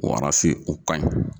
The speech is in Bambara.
Wara se o kaɲi.